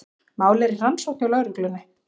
Málið er í rannsókn hjá lögreglunni